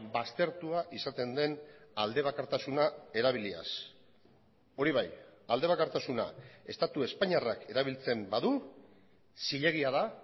baztertua izaten den aldebakartasuna erabiliaz hori bai aldebakartasuna estatu espainiarrak erabiltzen badu zilegia da